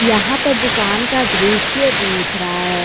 यहां पर दुकान का दृश्य दिख रहा है।